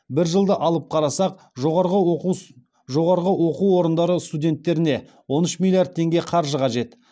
бір жылды алып қарасақ жоғарғы оқу орындары студенттеріне он үш миллиард теңге қаржы қажет